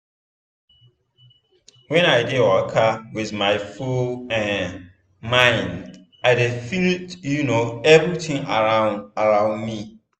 when i dey waka with my full um mind i dey feel um everitin around around me.